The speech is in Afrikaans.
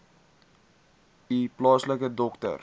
u plaaslike dokter